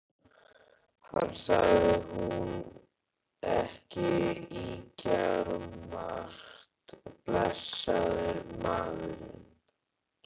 Hann sagði nú ekki ýkjamargt, blessaður maðurinn.